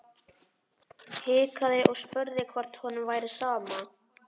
Hikaði og spurði hvort honum væri sama.